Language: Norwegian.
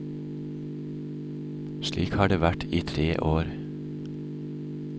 Slik har det vært i tre år.